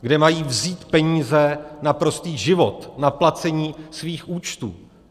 Kde mají vzít peníze na prostý život, na placení svých účtů?